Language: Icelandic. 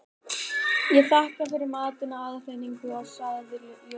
Ég þakka fyrir matinn og aðhlynninguna sagði Jóra.